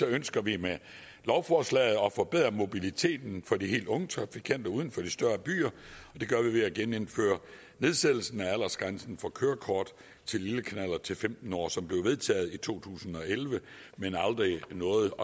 ønsker vi med lovforslaget at forbedre mobiliteten for de helt unge trafikanter uden for de større byer og det gør vi ved at genindføre nedsættelsen af aldersgrænsen for kørekort til lille knallert til femten år som blev vedtaget i to tusind og elleve men aldrig nåede